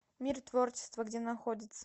мир творчества где находится